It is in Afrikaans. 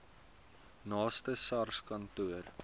naaste sars kantoor